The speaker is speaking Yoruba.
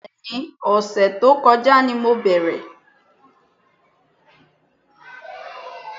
Bẹ́ẹ̀ni, ọ̀sẹ̀ tó kọjá ni mo bẹ̀rẹ̀